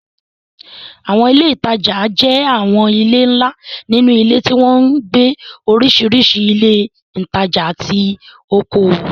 Àwọn ilé ìtajà jẹ́ àwọn ilé ńlá nínú ilé tí wọ́n ń gbé oríṣiríṣi ilé ìtajà àti okòwò.